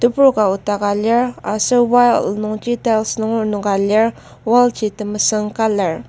Tebur ka nokdaka lir aser wall nungji tiles nunger enoka lir wall ji temesüng colour.